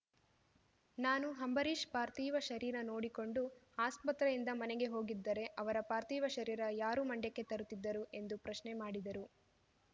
ನಾನು ಅಂಬರೀಷ್‌ ಪಾರ್ಥಿವ ಶರೀರ ನೋಡಿಕೊಂಡು ಆಸ್ಪತ್ರೆಯಿಂದ ಮನೆಗೆ ಹೋಗಿದ್ದರೆ ಅವರ ಪಾರ್ಥಿವ ಶರೀರ ಯಾರು ಮಂಡ್ಯಕ್ಕೆ ತರುತ್ತಿದ್ದರು ಎಂದು ಪ್ರಶ್ನೆ ಮಾಡಿದರು